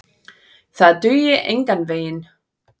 Það dugi engan veginn.